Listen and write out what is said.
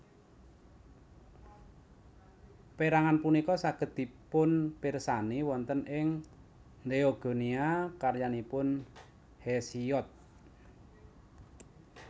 Perangan punika saged dipunpirsani wonten ing Theogonia karyanipun Hesiod